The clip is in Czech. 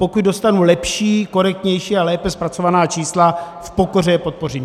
Pokud dostanu lepší, korektnější a lépe zpracovaná čísla, v pokoře je podpořím.